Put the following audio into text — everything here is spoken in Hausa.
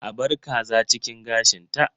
A bar kaza cikin gashinta.